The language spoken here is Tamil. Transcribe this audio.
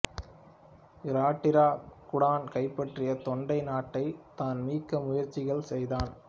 இராட்டிர கூடன் கைப்பற்றிய தொண்டை நாட்டைத் தான் மீட்க முயற்சிகள் செய்தான்